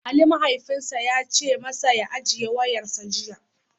Ali mahaifinsa ya ce masa ya "Ajiye wayarsa" jiya.